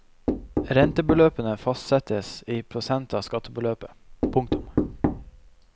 Rentebeløpene fastsettes i prosent av skattebeløpet. punktum